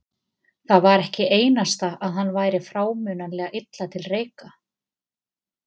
Það var ekki einasta að hann væri frámunalega illa til reika.